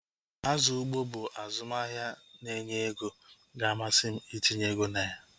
Azụ ugbo bụ azụmahịa na-enye oké ego ga-amasị m itinye ego na ya